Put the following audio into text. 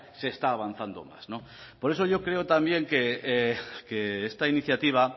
se está avanzando más por eso yo creo también que esta iniciativa